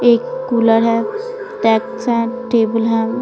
एक कूलर है टैक्स है टेबल है।